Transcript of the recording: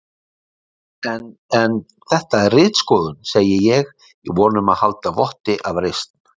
En en. þetta er ritskoðun, segi ég í von um að halda votti af reisn.